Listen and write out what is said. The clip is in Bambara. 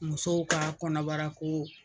Musow ka kɔnɔbarako